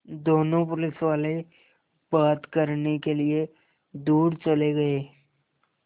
दोनों पुलिसवाले बात करने के लिए दूर चले गए